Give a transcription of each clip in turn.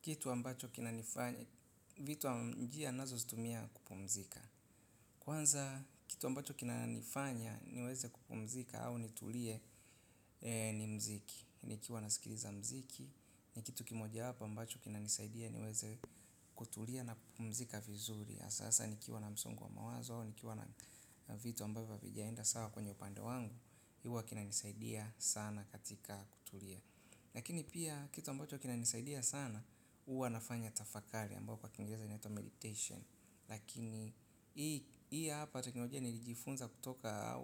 Kitu ambacho kinanifanya, vitu njia nazozitumia kupumzika. Kwanza kitu ambacho kinanifanya niweze kupumzika au nitulie ni mziki. Nikiwa nasikiliza mziki, ni kitu kimoja wapo ambacho kinanisaidia niweze kutulia na kupumzika vizuri hasa nikiwa na msongo wa mawazo, nikiwa na vitu ambavyo hazijaenda sawa kwenye upande wangu huwa kinanisaidia sana katika kutulia lakini pia kitu ambacho kinanisaidia sana huwa nafanya tafakari ambayo kwa kingereza inaitwa meditation. Lakini hii hapa teknolojia nilijifunza kutoka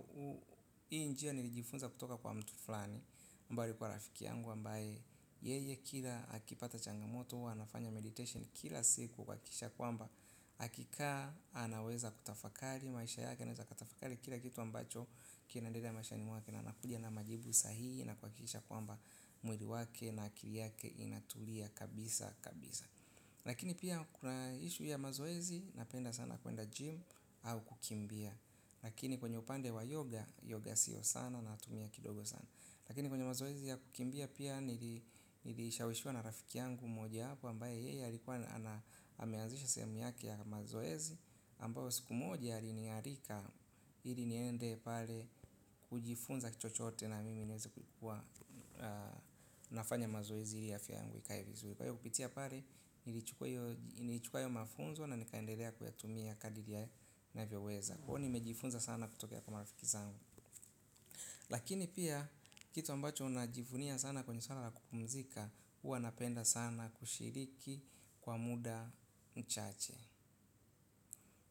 hii njia nilijifunza kutoka kwa mtu fulani ambaye alikuwa rafiki yangu ambaye yeye kila akipata changamoto huwa anafanya meditation kila siku kuhakikisha kwamba akikaa anaweza kutafakali maisha yake anaweza kutafakali kila kitu ambacho kinaendelea maisha ni mwake na anakuja na majibu sahihi na kuhakikisha kwamba mwili wake na akili yake inatulia kabisa kabisa lakini pia kuna issue ya mazoezi napenda sana kwenda gym au kukimbia lakini kwenye upande wa yoga yoga sio sana natumia kidogo sana lakini kwenye mazoezi ya kukimbia pia nilishawishiwa na rafiki yangu mojawapo ambaye yeye alikuwa ameazisha sehemu yake ya mazoezi ambayo siku moja alinialika ili niende pale kujifunza chochote na mimi niweze kukuwa nafanya mazoezi ili afya yangu ikae vizuri. Kwa hiyo kupitia pale, nilichukua hiyo mafunzo na nikaendelea kuyatumia kadri ya ninavyoweza. Huwa nimejifunza sana kutokea kwa marafiki zangu. Lakini pia, kitu ambacho najivunia sana kwenye swala la kupumzika, huwa napenda sana kushiriki kwa muda mchache.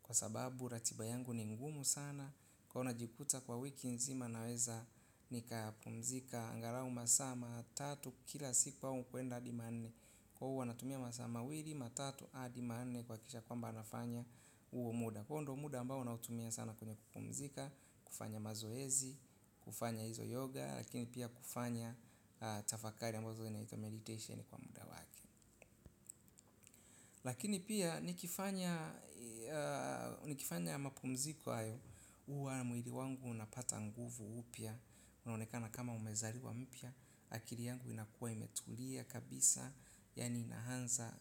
Kwa sababu, ratiba yangu ni ngumu sana. Kwa najikuta kwa wiki nzima naweza nikapumzika angalau masaa matatu kila siku au kwenda adi manne. Kwa hivyo huwa anatumia masaa mawili matatu adi manne kuhakikisha kwamba nafanya Huo Kwa hivo ndio muda ambao nautumia sana kwenye kupumzika. Kufanya mazoezi, kufanya hizo yoga. Lakini pia kufanya tafakari ambazo zinaitwa meditation kwa muda wake. Lakini pia nikifanya mapumziko hayo huwa mwili wangu unapata nguvu upya unaonekana kama umezaliwa mpya. Akili yangu inakua imetulia kabisa yaani inaanza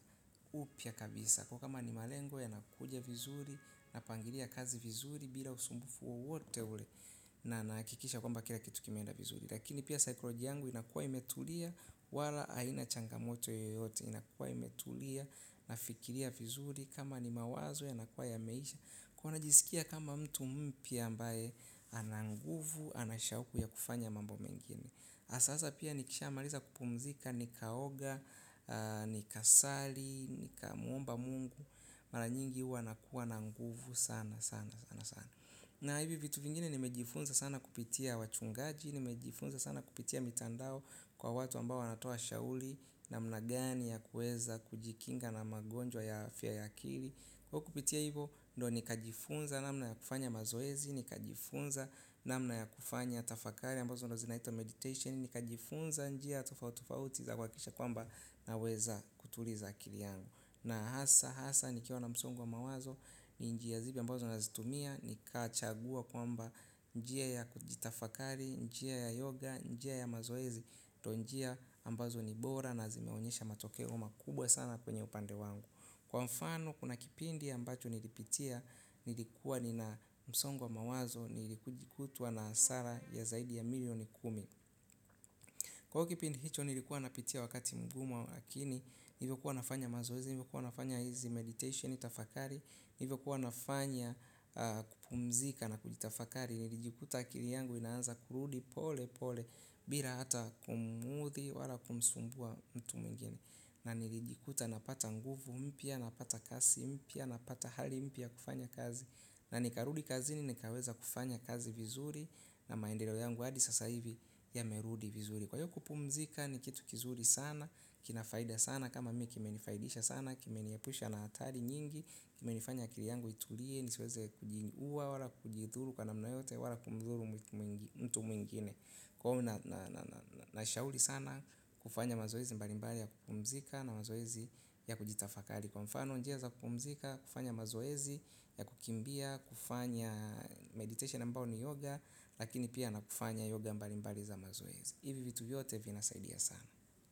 upya kabisa kwa hivyo kama malengo yanakuja vizuri napangilia kazi vizuri bila usumbufu wowote ule, napangilia kazi vizuri bila usubufu wowote ule a nahakikisha kila kitu kimeenda vizuri na psychology yangu inakuwa imetulia wala haina changamoto yoyote ile inakuwa imetulia nafikiria vizuri. Kama ni mawazo yanakuwa yameisha. Kwa hivo najisikia kama mtu mpya ambayele ana nguvu, anashauku ya kufanya mambo mengine, sasa pia nikishamaliza kupumzika, nikaoga, nikasali, nikamuomba mungu. Marannyingi huwa nakuwa na nguvu sana sana sana sana. Na hivi vitu vingine nimejifunza sana kupitia wachungaji. Nimejifunza sana kupitia mitandao kwa watu ambao wanatoa shauri namna gani ya kueza kujikinga na magonjwa ya afya akili. Kwa kupitia hivo, ndo nikajifunza namna ya kufanya mazoezi, ni kajifunza na mna ya kufanya tafakari, ambazo ndo zinaitwa meditation, ni kajifunza, njia tofauti tofauti za kuhakikisha kwamba naweza kutuliza akili yangu. Na hasa, hasa, nikiwa na msongo wa mawazo, ni njia zile ambazo unazitumia, nikachagua kwamba njia ya kujitafakari, njia ya yoga, njia ya mazoezi, ndo njia ambazo ni bora na zimeonyesha matokeo makubwa sana kwenye upande wangu. Kwa mfano kuna kipindi ambacho nilipitia nilikuwa nina msongo wa mawazo nilikutwa na hasara ya zaidi ya milioni kumi. Kwa hivyo kipindi hicho nilikuwa napitia wakati mgumu lakini nilivyokuwa nafanya mazoezi nilikuwa nafanya hizi meditation tafakari. Nivyokuwa nafanya kupumzika na kujitafakari nilijikuta akili yangu inaanza kurudi pole pole bila hata kumuudhi wala kumsumbua mtu mwingine na nilijikuta napata nguvu mpya napata kasi mpya napata hali mpya ya kufanya kazi na nikarudi kazini na nikaweza kufanya kazi vizuri na maendeleo yangu hadi sasa hivi yamerudi vizuri kupumzika ni kitu kizuri sana, kina faida sana kama mimi kimenifaidisha sana, kimeniepusha na hatari nyingi. Kimenifanya akili yangu itulie, nisiweze kujiuwa, wala kujidhuru kana namna yoyote, wala kumdhuru mtu mwingine. Na shauri sana kufanya mazoezi mbali mbali ya kupumzika na mazoezi ya kujitafakali. Kwa mfano njia za kupumzika, kufanya mazoezi ya kukimbia, kufanya meditation ambayo ni yoga. Lakini pia na kufanya yoga mbali mbali za mazoezi. Hivi vitu yote vina saidia sana.